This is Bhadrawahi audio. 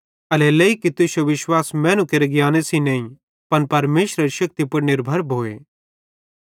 एल्हेरेलेइ की तुश्शो विश्वास मैनू केरे ज्ञाने सेइं नईं पन परमेशरेरे शेक्ति पुड़ निर्भर भोए